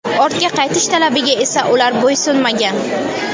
Ortga qaytish talabiga esa ular bo‘ysunmagan.